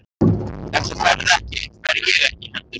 Ef þú ferð ekki, fer ég ekki heldur sagði ég.